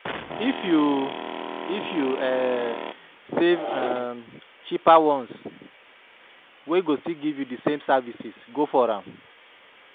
If yu If yu um see um cheaper ones wey go still giv yu di same services go for am